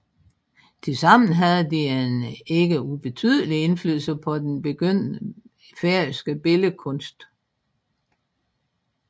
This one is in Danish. Tilsammen havde de en ikke ubetydelig indflydelse på den begyndende færøske billedkunst